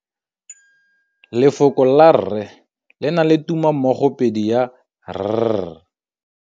Lefoko la rre le na le tumammogôpedi ya, r.